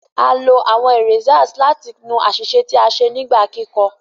A lo awọn erasers láti nu aṣiṣe tí a ṣe nígbà kikọ